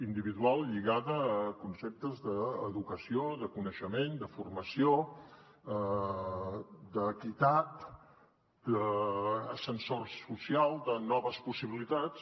individual lligada a conceptes d’educació de coneixement de formació d’equitat d’ascensor social de noves possibilitats